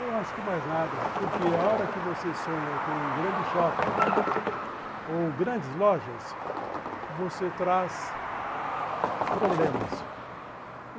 Eu acho que mais nada, porque a hora que você sonha com um grande shopping ou grandes lojas, você traz problemas.